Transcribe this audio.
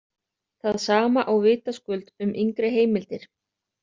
Það sama á vitaskuld um yngri heimildir.